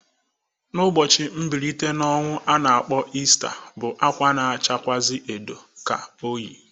Ụbọchị Mbilite n'Ọnwụ a na-akpọ Ista bụ akwa na-achakwụazị edo ka o yi.